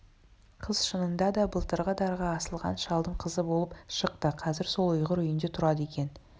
қыз шынында да былтырғы дарға асылған шалдың қызы болып шықты қазір сол ұйғыр үйінде тұрады екен